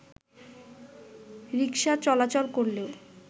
রিকশা চলাচল করলেও